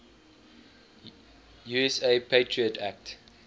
usa patriot act